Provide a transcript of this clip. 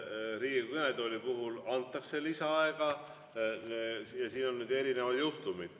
Riigikogu kõnetooli puhul antakse lisaaega ja siin on erinevad juhtumid.